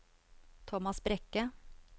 Thomas Brekke